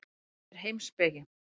Þetta er heimspeki.